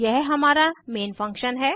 यह हमारा main function है